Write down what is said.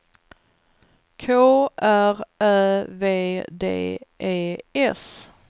K R Ä V D E S